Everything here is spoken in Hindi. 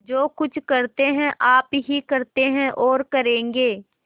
जो कुछ करते हैं आप ही करते हैं और करेंगे